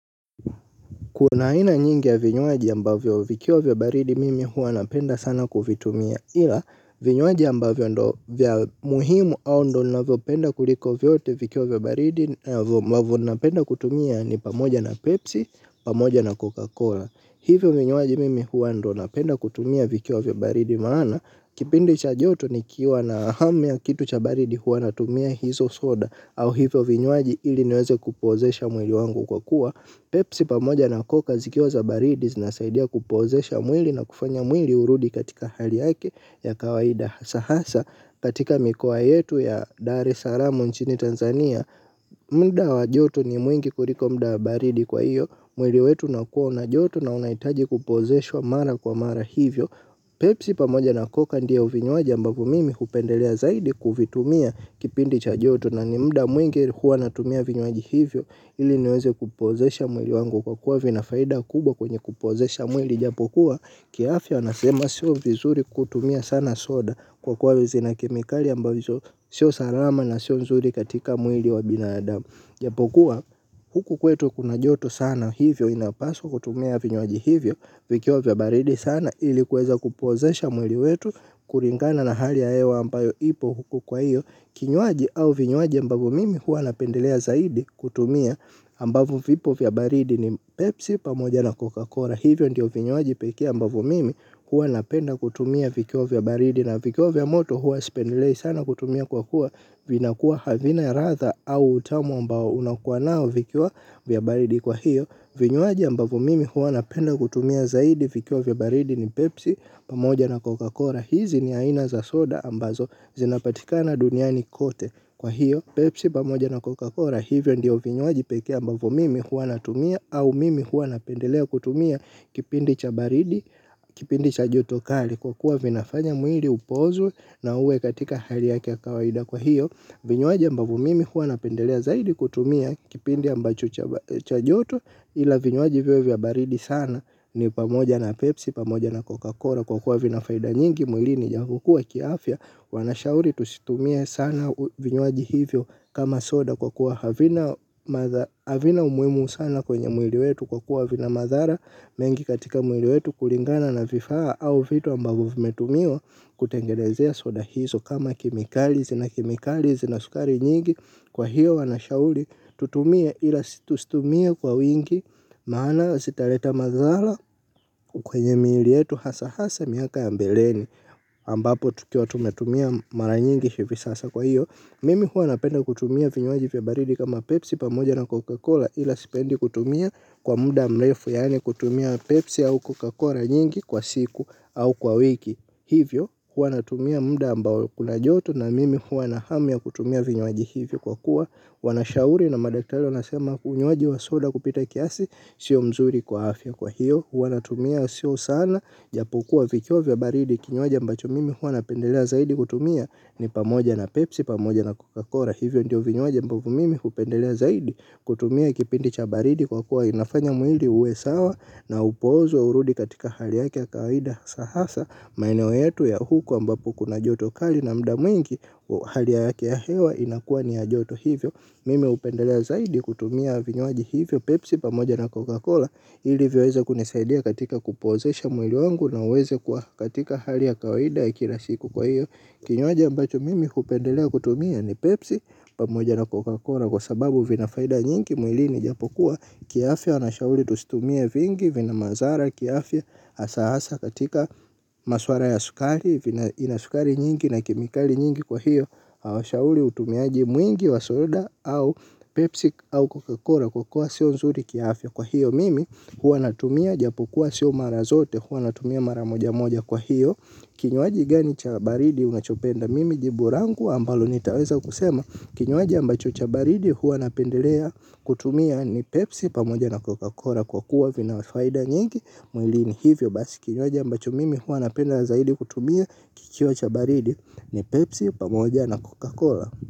Kuna aina nyingi ya vinywaji ambavyo vikiwa vya baridi mimi huwa napenda sana kuvitumia ila vinywaji ambavyo ndo vya muhimu au ndo navyopenda kuliko vyote vikiwa vya baridi wavyo napenda kutumia ni pamoja na Pepsi pamoja na Coca-Cola. Hivyo vinyawaji mimi huwa ndo napenda kutumia vikiwa vya baridi maana. Kipindi cha joto nikiwa na hamu ya kitu cha baridi huwa natumia hizo soda au hivyo vinywaji ili niweze kupozesha mwili wangu kwa kuwa. Pepsi pamoja na koka zikioza baridi zina saidia kupozesha mwili na kufanya mwili hurudi katika hali yake ya kawaida sa hasa katika mikoa yetu ya dar es alamu nchini Tanzania. Muda wajotu ni mwingi kuliko muda baridi kwa iyo. Mwili wetu unakuwa una joto na unaitaji kupozeshwa mara kwa mara hivyo Pepsi pamoja na coca ndio vinywaji ambavvy mimi hupendelea zaidi kuvitumia kipindi cha joto na ni muda mwingi huwa natumia vinywaji hivyo ili niweze kupozesha mwili wangu kwa kuwa vinafaida kubwa kwenye kupozesha mwili ijapokuwa kiafya nasema siyo vizuri kutumia sana soda kwa kuwa zina kemikali ambazo siyo salama na siyo nzuri katika mwili wa binadamu. Japokuwa huku kwetu kuna joto sana hivyo inapaswa kutumia vinywaji hivyo vikiwa vya baridi sana ili kuweza kupozesha mwili wetu kuringana na hali ya hewa ambayo ipo huku kwa hiyo. Kinywaji au vinywaji ambavyo mimi huwa napendelea zaidi kutumia ambavo vipo vya baridi ni Pepsi pamoja na Coca-Cola. Kwa hivyo ndiyo vinywaji peke ambavo mimi huwa napenda kutumia vikiwa vya baridi na vikiwa vya moto huwa spendelei sana kutumia kwa kuwa vina kuwa havina ladha au utamu ambao unakuwa nao vikiwa vya baridi kwa hiyo. Vinywaji ambavu mimi huwa napenda kutumia zaidi vikiwa vya baridi ni Pepsi pamoja na Coca-Cola. Hizi ni aina za soda ambazo zinapatikana duniani kote. Kwa hiyo, Pepsi pamoja na Coca-Cola hivyo ndiyo vinywaji peke ambavo mimi hua natumia au mimi hua napendelea kutumia kipindi cha baridi, kipindi cha joto kali kwa kuwa vinafanya mwili upozwe na uwe katika hali yake ya kawaida. Kwa hiyo vinywaji ambavyo mimi huwa napendelea zaidi kutumia kipindi ambacho cha joto ila vinywaji viwe vya baridi sana ni pamoja na Pepsi pamoja na Coca-Cola kwa kuwa vinafaida nyingi mwili ni japokuwa kiafya wanashauri tusitumie sana vinywaji hivyo kama soda kwa kuwa havina umuhimu sana kwenye mwili wetu kwa kuwa vina madhara mengi katika mwili wetu kulingana na vifaa au vitu ambavo vimetumiwa kutengenezea soda hizo kama kemikali zina kemikali, zina sukari nyingi kwa hiyo wana shauri tutumie ila tustumie kwa wingi maana sitaleta madhala kwenye mili yetu hasa hasa miaka ya mbeleni ambapo tukiwa tumetumia mara nyingi hivi sasa kwa hiyo mimi hua napenda kutumia vinywaji vya baridi kama pepsi pamoja na cocacola ila sipendi kutumia kwa muda mlefu yani kutumia pepsi au cocacola nyingi kwa siku au kwa wiki hivyo hua natumia muda ambao kuna joto na mimi hua na hamu ya kutumia vinywaji hivyo kwa kuwa wanashauri na madaktari wanasema unywaji wa soda kupita kiasi sio mzuri kwa afya kwa hiyo huwa natumia sio sana japokua vikio vya baridi kinywaji mbacho mimi huwa napendelea zaidi kutumia ni pamoja na pepsi pamoja na cocacola hivyo ndio vinywaji ambavo mimi hupendelea zaidi kutumia kipindi cha baridi kwa kuwa inafanya mwili uwe sawa na upozwe urudi katika hali yake ya kaida sa hasa maeneo yetu ya huku ambapo kuna joto kali na muda mwingi. Hali yake ya hewa inakua ni ya joto hivyo. Mimi hupendelea zaidi kutumia vinywaji hivyo. Pepsi pamoja na Coca-Cola. Ili viweze kunisaidia katika kupozesha mwili wangu. Na uweze kuwa katika hali ya kawaida ya kila siku kwa hiyo. Kinywaji ambacho mimi kupendelea kutumia ni Pepsi pamoja na Coca-Cola. Kwa sababu vinafaida nyingi mwilini japokuwa. Kiafya wanashauli tusitumie vingi vina mazara. Kiafya asa asa katika maswara ya sukari. Ina sukari nyingi na kemikali nyingi kwa hiyo hawashauli utumiaji mwingi wa soda au pepsi au cocacola kwa kuwa sio nzuri kiafya kwa hiyo mimi hua natumia japo kuwa sio mara zote hua natumia mara moja moja kwa hiyo kinywaji gani cha baridi unachopenda mimi jibu langu ambalo nitaweza kusema kinywaji ambacho cha baridi hua napendelea kutumia ni pepsi pamoja na cocacola kwa kuwa vina faida nyingi mwilini hivyo basi kinywaji ambacho mimi hua napenda zaidi kutumia. Kikiwa cha baridi ni Pepsi pamoja na Coca-Cola.